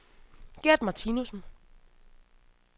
Gert Martinussen